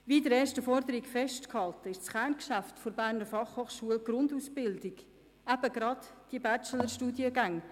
Wie in der ersten Forderung festgehalten, ist das Kerngeschäft der BFH die Grundausbildung, also die genannten Bachelor-Studiengänge.